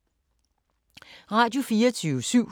Radio24syv